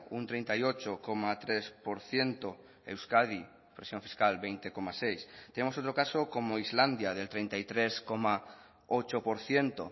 un treinta y ocho coma tres por ciento euskadi presión fiscal veinte coma seis tenemos otro caso como islandia del treinta y tres coma ocho por ciento